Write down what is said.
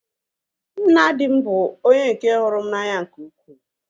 Nna di m bụ onye nke hụrụ m n'anya nke ukwuu